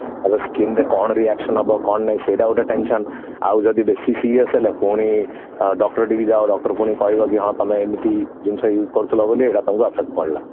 ଆବେ skin ରେ କଣ reaction ହବ କଣ ନାଇଁ ସେଇଟା ଗୋଟେ tension ଆଉ ଯଦି ବେଶି serious ହେଲା ପୁଣି doctor ଠିକି ଯାଅ doctor କଣ ତମକୁ କହିବ କି ତମେ ଏମିତି ଜିନିଷ use କରୁଥିଲ ବୋଲି ଏଇଟା ତମକୁ affect ହେଲା